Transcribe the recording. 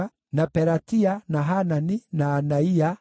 na Pelatia, na Hanani, na Anaia,